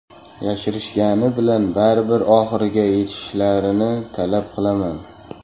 Yashirishgani bilan baribir oxiriga yetishlarini talab qilaman.